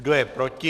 Kdo je proti?